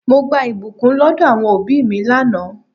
Mo gba ìbùkún lọdọ àwọn òbí mi lánàá.